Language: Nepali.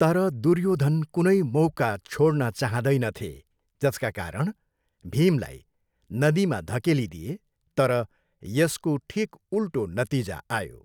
तर दुर्योधन कुनै मौका छोड्न चाहँदैनथे जसकारण भीमलाई नदीमा धकेलिदिए तर यसको ठिक उल्टो नतिजा आयो।